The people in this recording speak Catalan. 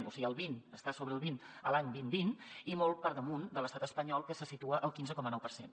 o sigui el vint estar sobre el vint l’any dos mil vint i molt per damunt de l’estat espanyol que se situa al quinze coma nou per cent